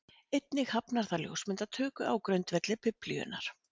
Einnig hafnar það ljósmyndatöku á grundvelli Biblíunnar.